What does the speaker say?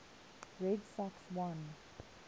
red sox won